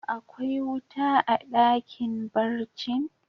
Akwai wuta a dakin barcin?